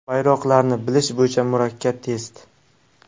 Bayroqlarni bilish bo‘yicha murakkab test.